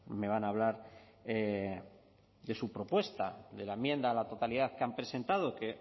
me van a hablar de su propuesta de la enmienda a la totalidad que han presentado que